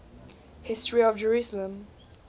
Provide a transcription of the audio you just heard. history of jerusalem